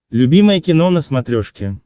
любимое кино на смотрешке